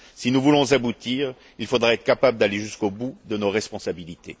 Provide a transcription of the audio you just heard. Si nous voulons aboutir, il faudra être capable d'aller jusqu'au bout de nos responsabilités.